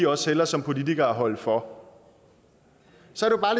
også hellere som politiker holde for